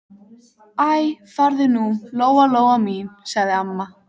Æ, farðu nú, Lóa Lóa mín, sagði amma.